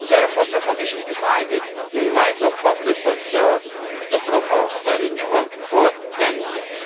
substance. Therefore the Commission decided, in light of public concern, to propose a renewal for